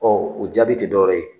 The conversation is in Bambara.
o jaabi tɛ dɔwɛrɛ ye